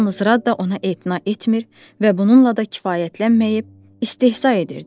Yalnız Radda ona etina etmir və bununla da kifayətlənməyib, istehza edirdi.